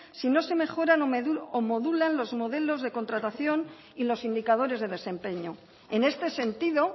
si no se mejoran o modulan los modelos de contratación y los indicadores de desempeño en este sentido